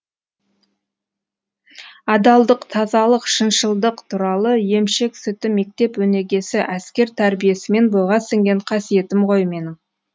адалдық тазалық шыншылдық туралық емшек сүті мектеп өнегесі әскер тәрбиесімен бойға сіңген қасиетім ғой менің